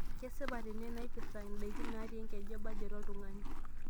kesipa tene nnaipirta ndaiki naatii enkeju e bajet oltung'ani